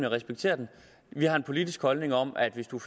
respekterer den vi har en politisk holdning om at hvis man